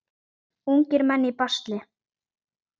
Ungir menn í basli.